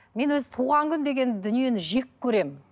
мен өзі туған күн деген дүниені жек көремін